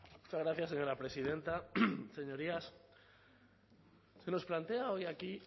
muchas gracias señora presidenta señorías se nos plantea hoy aquí